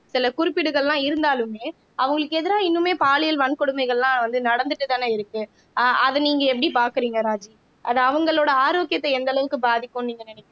சில குறிப்பீடுகள்லாம் இருந்தாலுமே அவங்களுக்கு எதிரா இன்னுமே பாலியல் வன்கொடுமைகள்லாம் வந்து நடந்துட்டுதானே இருக்கு ஆஹ் அதை நீங்க எப்படி பார்க்குறீங்க ராஜி அது அவங்களோட ஆரோக்கியத்தை எந்த அளவுக்கு பாதிக்கும்ன்னு நீங்க நினைக்கிற